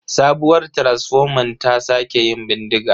Sabuwar taransifoman ta sake yin bindiga.